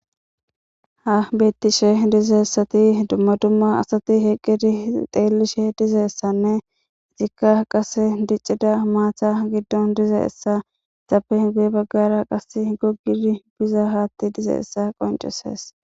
Ha bettishe dizeessati dumma dumma asati heqqidi xeellishe dizeessanne itikka qase diccida maatha giddon dizazayisa guye baggara qas gogidi biza haatti dize essa qonceses.